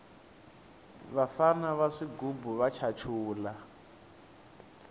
vafana va swigubu va chachula